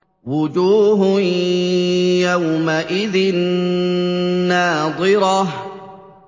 وُجُوهٌ يَوْمَئِذٍ نَّاضِرَةٌ